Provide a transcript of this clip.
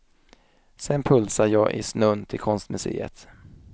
Sen pulsar jag i snön till konstmuseet.